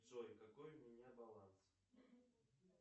джой какой у меня баланс